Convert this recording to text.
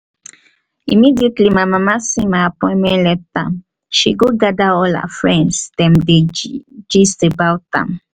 immediately my mama see my appointment letter um she go gather all her friends dem dey gist dem about am